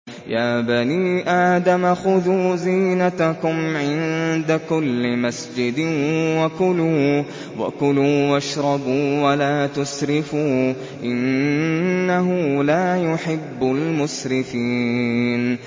۞ يَا بَنِي آدَمَ خُذُوا زِينَتَكُمْ عِندَ كُلِّ مَسْجِدٍ وَكُلُوا وَاشْرَبُوا وَلَا تُسْرِفُوا ۚ إِنَّهُ لَا يُحِبُّ الْمُسْرِفِينَ